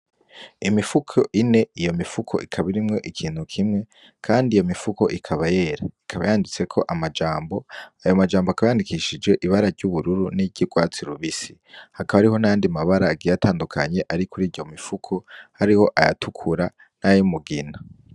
Imifuko ine, iyo mifuko ikaba irimwo ikintu kimwe kandi iyo mifuko ikaba yera, ikaba yanditseko amajambo, ayo majambo akaba yandikishije ibara ry'ubururu n'iryurwatsi rubisi. Hakaba hariho n'ayandi mabara agiye atandukanye ari kuriyo mifuko? hariho ayatukura n'ayumugina.